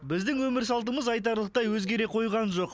біздің өмір салтымыз айтарлықтай өзгере қойған жоқ